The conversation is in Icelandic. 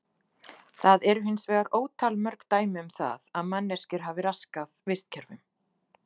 Það eru hins vegar ótal mörg dæmi um það að manneskjur hafi raskað vistkerfum.